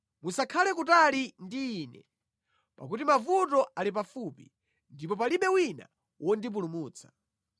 Musakhale kutali ndi ine, pakuti mavuto ali pafupi ndipo palibe wina wondipulumutsa.